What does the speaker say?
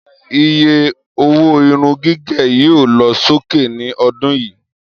Iye owó irun gígẹ̀ yóò lọ sókè ní ọdún yìí